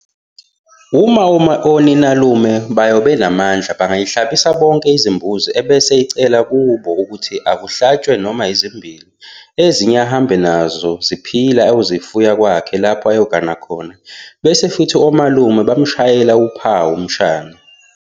Uma oninalume bayo benamandla bangayihlabisa bonke izimbuzi ebese icela kubo ukuthi akuhlatshwe noma ezimbili ezinye ahambe nazo ziphila ayozifuya kwakhe lapha ayogana khona bese kuthi omalume bamshayele uphawu umshana wabo.